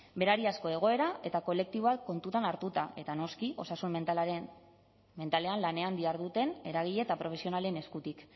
berariazko egoera eta kolektiboak kontuan hartuta eta noski osasun mentalean lanean diharduten eragile eta profesionalen eskutik